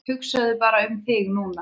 Hugsaðu bara um þig núna.